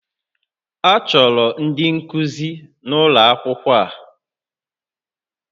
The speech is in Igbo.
A chọrọ ndị nkuzi n'ụlọ akwụkwọ a